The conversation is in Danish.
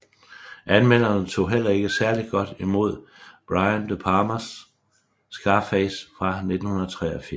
Anmelderne tog heller ikke særligt godt imod Brian De Palmas Scarface fra 1983